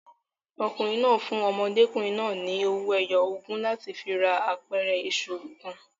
Ọkùnrin náà fún ọmọdékùnrin náà ni owó ẹyọ ogún láti fi ra apẹ̀rẹ̀ iṣu kan.